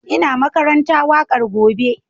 Ina karanta waƙar gobe